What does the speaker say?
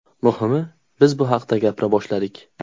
Muhimi, biz bu haqda gapira boshladik.